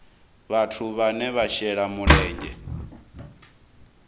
vhathu vhane vha shela mulenzhe